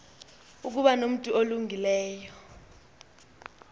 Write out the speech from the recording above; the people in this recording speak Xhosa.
ukuba nomntu olungileyo